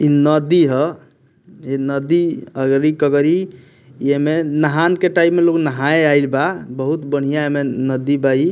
इ नदी है ए नदी अगरी-कगरी ये में नहान के टाइम में लोग नहाय आइल बा बहुत बढ़िया एमें नदी बा इ।